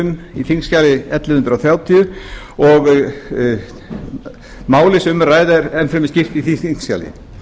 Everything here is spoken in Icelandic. um á þingskjali ellefu hundruð þrjátíu og málið sem um er að ræða er enn fremur skýrt því þingskjali